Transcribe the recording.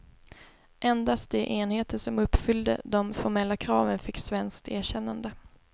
Endast de enheter som uppfyllde de formella kraven fick svenskt erkännande.